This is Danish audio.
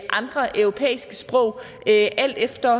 andre europæiske sprog alt efter